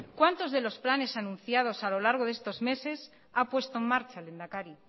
cuántos de los planes anunciados a lo largo de estos meses ha puesto en marcha lehendakari